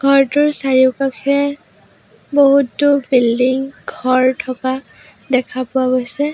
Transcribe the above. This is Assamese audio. ঘৰটোৰ চাৰিওকাষে বহুতো বিল্ডিং ঘৰ থকা দেখা পোৱা গৈছে।